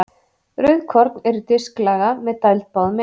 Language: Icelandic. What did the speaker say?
Rauðkorn eru disklaga með dæld báðum megin.